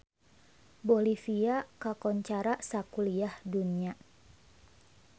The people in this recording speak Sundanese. Bolivia kakoncara sakuliah dunya